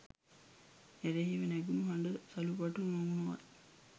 එරෙහිව නැගුණු හඬ සුළුපටු නොවූවත්